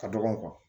Ka dɔgɔn